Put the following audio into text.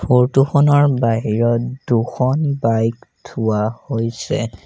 ফৰটো খনৰ বাহিৰত দুখন বাইক থোৱা হৈছে।